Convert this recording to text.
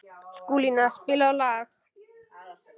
Skúlína, spilaðu lag.